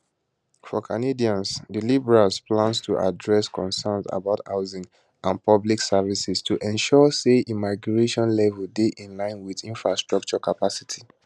for canadians di liberals plan to address concerns about housing and public services to ensure say immigration levels dey in line wit infrastructure capacity